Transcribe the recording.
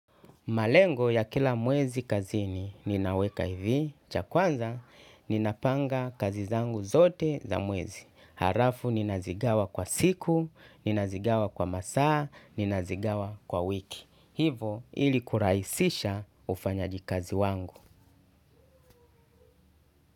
Malengo ya kila mwezi kazini ninaweka hivi. Cha kwanza, ninapanga kazi zangu zote za mwezi. Halafu ninazigawa kwa siku, ninazigawa kwa masaa, ninazigawa kwa wiki. Hivo ili kurahisisha ufanyaji kazi wangu.